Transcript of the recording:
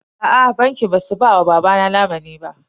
Aa bankin ba su ba wa babana lamunin ba.